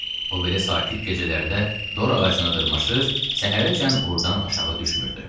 O belə sakit gecələrdə dor ağacına dırmaşır, səhərəcən ordan aşağı düşmürdü.